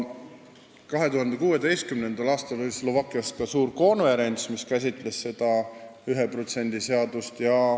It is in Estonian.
2016. aastal oli Slovakkias ka suur konverents, mis käsitles seda 1% seadust.